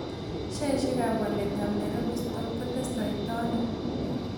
Sheaisiekap waletap nairobi stock kotestotai aino